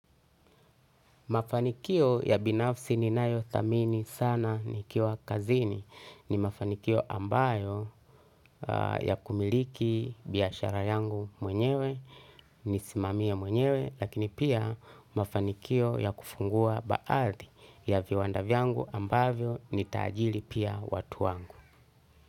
Mafanikio ya binafsi ninayo thamini sana, nikiwa kazini ni mafanikio ambayo ya kumiliki biashara yangu mwenyewe nisimamie mwenyewe, lakini pia, mafanikio ya kufungua baathi ya viwanda vyangu ambavyo ni taajili pia watu wangu.